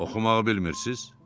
Oxumağı bilmirsiniz?